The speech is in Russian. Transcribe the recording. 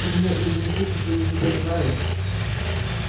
ты меня или не слышишь или не понимаешь